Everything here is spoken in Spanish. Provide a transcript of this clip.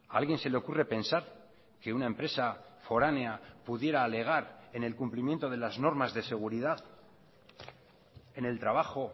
a alguien se le ocurre pensar que una empresa foránea pudiera alegar en el cumplimiento de las normas de seguridad en el trabajo